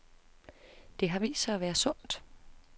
Det har vist sig at være sundt.